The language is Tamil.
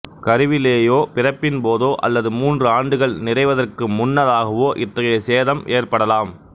கருவிலேயோ பிறப்பின் போதோ அல்லது மூன்று ஆண்டுகள் நிறைவதற்கு முன்னதாகவோ இத்தகைய சேதம் ஏற்படலாம்